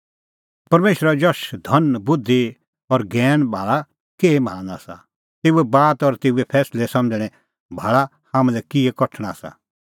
परमेशरे जशो धन बुधि और ज्ञैन भाल़ा केही महान आसा तेऊए बात और तेऊए फैंसलै समझ़णैं भाल़ा हाम्हां लै किहै कठण आसा